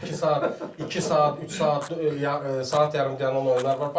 Ona görə iki saat, iki saat, üç saat, saat yarım dayanan oyunlar var.